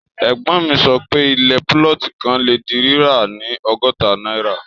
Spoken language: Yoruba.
Ègbón mi sọ pé, ilẹ̀ púlọ̀tì kan le di ri rira ni ọgọ́ta náírà.